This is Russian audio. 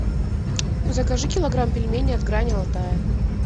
закажи килограмм пельменей от грани алтая